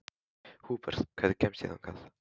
Húbert, hvernig kemst ég þangað?